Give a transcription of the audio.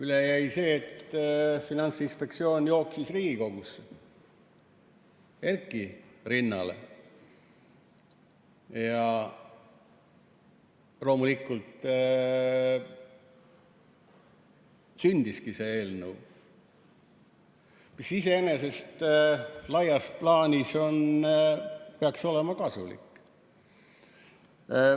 Üle jäi see, et Finantsinspektsioon jooksis Riigikogusse Erki rinnale ja sündiski see eelnõu, mis iseenesest laias plaanis peaks olema kasulik.